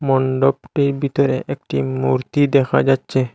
মন্ডপটির ভিতরে একটি মূর্তি দেখা যাচ্ছে।